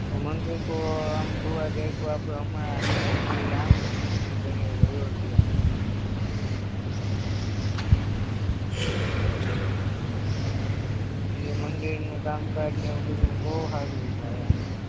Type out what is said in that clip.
મંદિરતો આમ જોવા જાયે તો આપણે હમણાં શ્રીરામનું મંદિર બનાયવું અયોધ્યામાં ઇ મંદિરનું કામ કાજ ને બધુય બોવ સારું એવું હાલે